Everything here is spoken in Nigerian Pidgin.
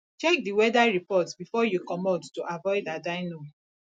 check di weather report before you comot to avoid had i known